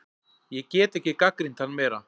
Ég get ekki gagnrýnt hann meira.